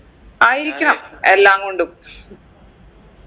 ആയിരിക്കണം എല്ലാം കൊണ്ടും